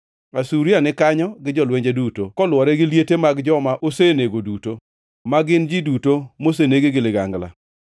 “Asuria ni kanyo gi jolwenje duto, kolwore gi liete mag joma osenego duto, ma gin ji duto moseneg gi ligangla.